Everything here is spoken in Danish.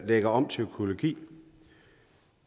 lægger om til økologi